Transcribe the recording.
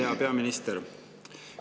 Hea peaminister!